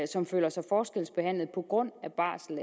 som føler sig forskelsbehandlet på grund af barsel